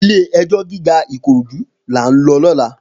Ilé èjò gigá Ikorodu lá n lò lòlá